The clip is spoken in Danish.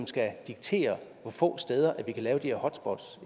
skal diktere hvor få steder vi kan lave de her hotspots